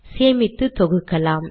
சேமித்து தொகுக்கலாம்